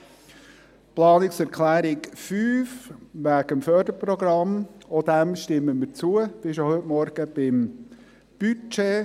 Der Planungserklärung 5 zum Förderprogramm stimmen wir ebenfalls zu, wie bereits heute Morgen beim Budget.